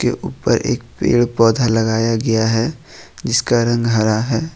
अ ऊपर एक पेड़ पौधा लगाया गया है जिसका रंग हरा है।